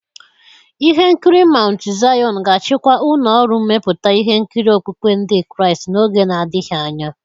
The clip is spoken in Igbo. Ihe nkiri Maụntụ Zaịọn ga-achịkwa ụlọ ọrụ mmepụta ihe nkiri okpukpe Ndị Kraịst n'oge na-adịghị anya.